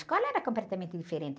A escola era completamente diferente.